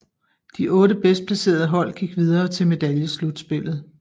De otte bedst placerede hold gik videre til medaljeslutspillet